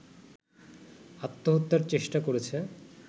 আত্মহত্যার চেষ্টা করেছে